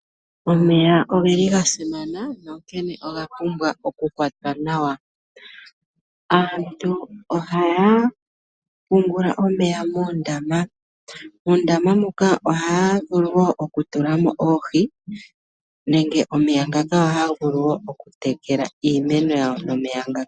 Omeya oga simana nonkene oga pumbwa ku kwatwa nawa. Aantu ohaya pungula omeya muundama. Muundama muka ohaya vulu wo okutula mo oohi nenge omeya ngaka ohaga vulu okutekela iimeno.